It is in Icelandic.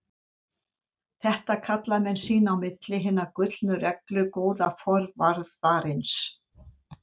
Þetta kalla menn sín á milli Hina gullnu reglu góða forvarðarins.